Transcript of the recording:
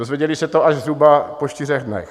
Dozvěděli se to až zhruba po čtyřech dnech.